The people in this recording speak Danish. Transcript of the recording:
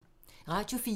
Radio 4